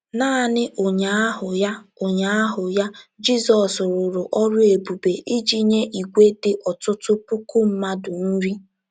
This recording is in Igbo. Naanị ụnyaahụ ya ụnyaahụ ya, Jizọs rụrụ ọrụ ebube iji nye ìgwè dị ọtụtụ puku mmadụ nri.